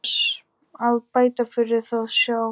Við Bára mín kynntumst í barnaskólanum þar sem ég kenni.